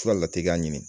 Fura lateliya ɲini